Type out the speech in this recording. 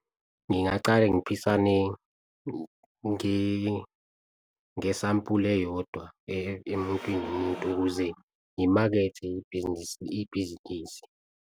Ngingacala ngiphisane ngesampula eyodwa emuntwini umuntu, ukuze ngimakethe ibhizinisi.